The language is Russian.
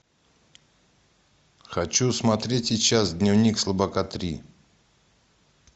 хочу смотреть сейчас дневник слабака три